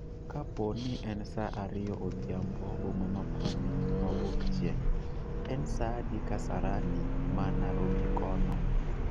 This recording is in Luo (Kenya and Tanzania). kapo ni en saa ariyo odhiambo boma ma pwani mawuok chieng', en sa adi kasarani ma narobi kono